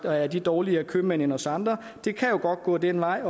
er de dårligere købmænd end os andre det kan jo godt gå den vej